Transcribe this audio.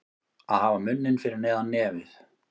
Að hafa munninn fyrir neðan nefið